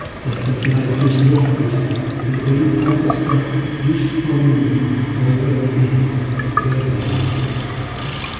Þetta flækist nokkuð í einfaldasta lífsforminum á jörðinni, örverunum.